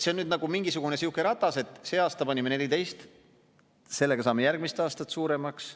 See on nagu mingisugune sihuke ratas, et see aasta panime 14 miljonit, sellega saame järgmise aasta summa suuremaks.